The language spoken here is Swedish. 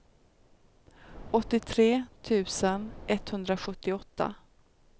åttiotre tusen etthundrasjuttioåtta